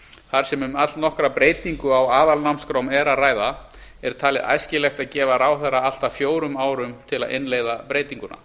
þar sem um allnokkra breytingu á aðalnámskrám er að ræða er talið æskilegt að gefa ráðherra allt að fjórum árum til að innleiða breytinguna